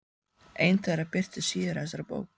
Ein þeirra birtist síðar í þessari bók.